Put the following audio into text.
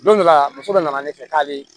Don dɔ la muso dɔ nana ne fɛ k'a bɛ